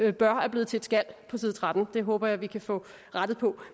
et bør er blevet til et skal på side trettende det håber jeg vi kan få rettet på